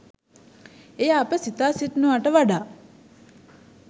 එය අප සිතා සිටිනවාට වඩා